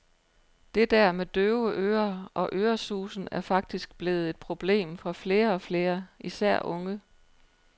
Det der med døve ører og øresusen er faktisk blevet et problem for flere og flere, især unge.